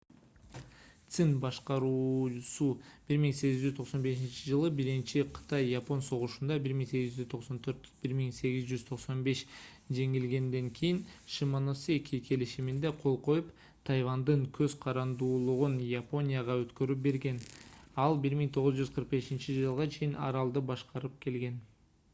цин башкаруусу 1895-жылы биринчи кытай-япон согушунда 1894–1895 жеңилгенден кийин шимоносеки келишимине кол коюп тайвандын көз карандуулугун японияга өткөрүп берген. ал 1945-жылга чейин аралды башкарып келген